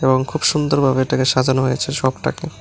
এবং খুব সুন্দর ভাবে এটাকে সাজানো হয়েছে সবটাকে।